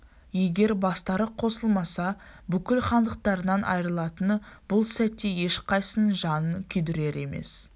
егер бастары қосылмаса бүкіл хандықтарынан айрылатыны бұл сәтте ешқайсының жанын күйдірер емес